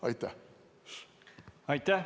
Aitäh!